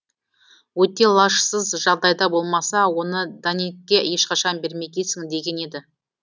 өте лажсыз жағдайда болмаса оны даннингке ешқашан бермегейсің деген еді